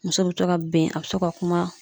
Muso bɛ to ka bɛn, a bɛ to ka kuma.